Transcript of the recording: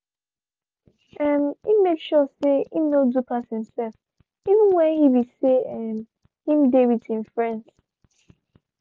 um he make sure say him no do pass himself even when he be say um him dey with him friends